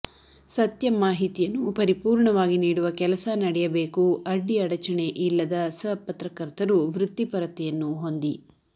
ಸತ್ಯ ಮಾಹಿತಿಯನ್ನು ಪರಿಪೂರ್ಣವಾಗಿ ನೀಡುವ ಕೆಲಸ ನಡೆಯಬೇಕು ಅಡ್ಡಿ ಅಡಚಣೆ ಇಲ್ಲದ ಸ ಪತ್ರಕರ್ತರು ವೃತ್ತಿ ಪರತೆಯನ್ನು ಹೊಂದಿ